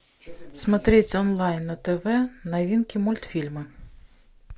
смотреть онлайн на тв новинки мультфильмы